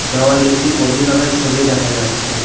দেওয়ালে একটি কফি কাপের ছবি দেখা যাচ্ছে।